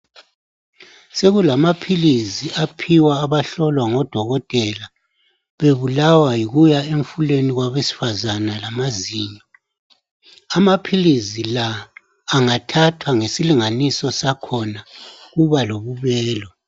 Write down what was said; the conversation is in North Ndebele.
Sekulamapilisi aphiwa abahlolwa ngodokotela bebulalwa yikuya emfulweni kwabesifazana lamazinyo amaphilisi lawa angathatwa ngesilinganiso sakhona kuba lokubelwa